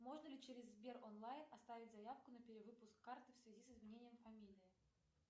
можно ли через сбер онлайн оставить заявку на перевыпуск карты в связи с изменением фамилии